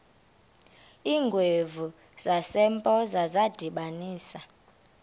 iingwevu zasempoza zadibanisana